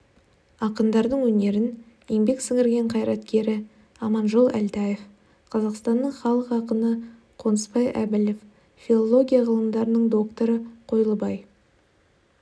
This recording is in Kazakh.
ақындардың өнерін еңбек сіңірген қайраткері аманжол әлтаев қазақстанның халық ақыны қонысбай әбілов филология ғылымдарының докторы қойлыбай